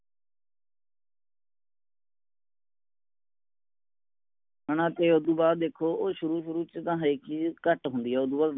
ਹੈਨਾ ਤੇ ਓਦੋ ਬਾਅਦ ਦੇਖੋ ਉਹ ਸ਼ੁਰੂ ਸ਼ੁਰੂ ਚ ਤਾ ਹੈ ਕਿ ਘਟ ਹੁੰਦੀ ਹੈ